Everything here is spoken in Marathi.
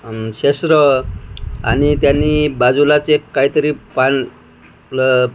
आमश्या सुरो आणि त्यांनी बाजूलाच एक काय तरी पान प्ल --